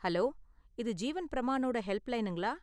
Hello! இது ஜீவன் பிரமானோட ஹெல்ப்லைனுங்களா?